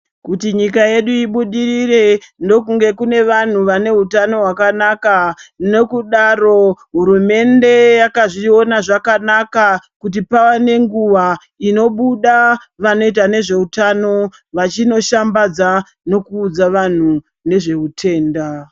Kuti nyika yedu ibudirire ndokunge kune vanhu vaneutano hwakanaka nokudaro hurumende yakazviona zvakanaka kuti pava nenguva inobuda vanoita nezveutano vachinoshambadza nokuudza vanhu nezveutenda.